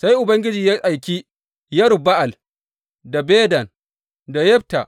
Sai Ubangiji ya aiki Yerub Ba’al da Bedan da Yefta